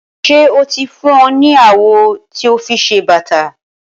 Ṣé o ti fún ọ ní awọ ti o fi se bàtà?